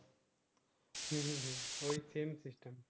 হম হম ঐ same system